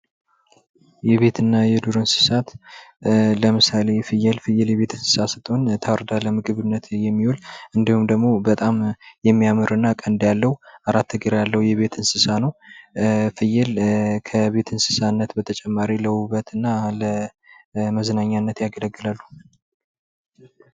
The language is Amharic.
የቤትና የዱር እንስሳት ለምሳሌ፦ ፍያል፤ ፍየል የቤት እንሣ ስትሆን እንድሁም ታርዳ ለምግብነት የሚሆን እንድሁም ደግሞ በጣም የሚያምርና ቀንድ ያለው አራት እግር ያለው እንስሳ ነው። ከቤት እንስሳት በተጨማሪ ለውበትና ለመዝናኛነት ያገለግላሉ።